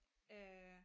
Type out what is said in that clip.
Øh